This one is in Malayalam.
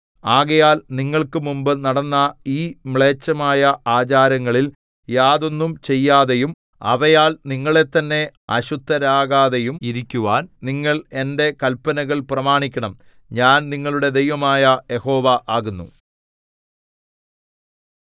ആകയാൽ നിങ്ങൾക്ക് മുമ്പ് നടന്ന ഈ മ്ലേച്ഛമായ ആചാരങ്ങളിൽ യാതൊന്നും ചെയ്യാതെയും അവയാൽ നിങ്ങളെത്തന്നെ അശുദ്ധരാകാതെയും ഇരിക്കുവാൻ നിങ്ങൾ എന്റെ കൽപ്പനകൾ പ്രമാണിക്കണം ഞാൻ നിങ്ങളുടെ ദൈവമായ യഹോവ ആകുന്നു